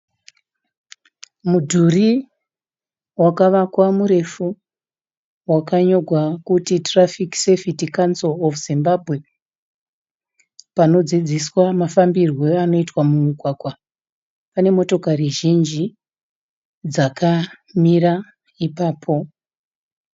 Mudhuri wakavakwa murefu wakanyogwa kuti Traffic Safety Council of Zimbabwe, panodzidziswa mafambirwo anoiitwa mumugwagwa pane motokari zhizhji dzakamira ipapo.